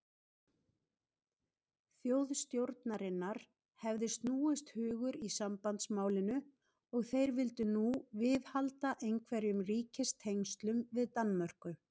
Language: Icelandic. Þjóðstjórnarinnar hefði snúist hugur í sambandsmálinu, og þeir vildu nú viðhalda einhverjum ríkistengslum við Danmörku.